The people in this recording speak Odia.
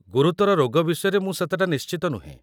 ଗୁରୁତର ରୋଗ ବିଷୟରେ ମୁଁ ସେତେଟା ନିଶ୍ଚିତ ନୁହେଁ ।